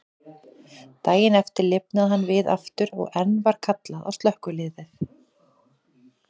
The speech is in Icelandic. Daginn eftir lifnaði hann við aftur, og enn var kallað á slökkvilið.